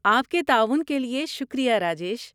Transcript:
آپ کے تعاون کے لیے شکریہ، راجیش۔